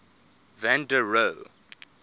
van der rohe